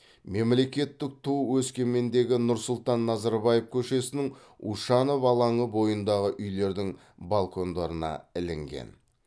мемлекеттік ту өскемендегі нұрсұлтан назарбаев көшесінің ушанов алаңы бойындағы үйлердің балкондарына ілінген